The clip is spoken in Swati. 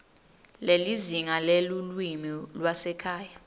nelizinga lelulwimi lwasekhaya